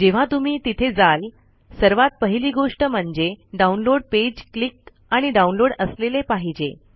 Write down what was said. जेव्हा तुम्ही तिथे जाल सर्वात पहिली गोष्ट म्हणजे डाउनलोड पेज क्लिक आणि डाउनलोड असलेले पाहजे